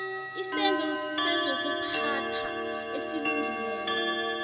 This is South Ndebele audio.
isenzo sezokuphatha esilungileko